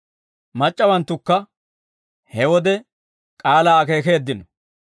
Mac'c'awanttukka he wode k'aalaa akeekeeddino.